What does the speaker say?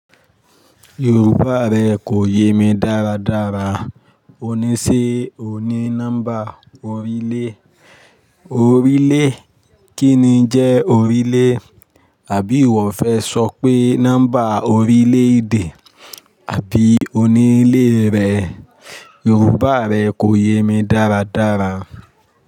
Yorùbá rẹ kò yé mi dáradára. Ó ní ṣé ó ní nọ́mbà orílè. Orílè? Kí ni jẹ́ orílè? Àbí ìwọ fẹ́ sọ pé nọ́mbà orílè èdè àbí onílé rẹ? Yorùbá rẹ kò yé mi dáradára.